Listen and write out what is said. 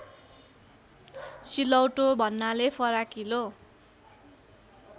सिलौटो भन्नाले फराकिलो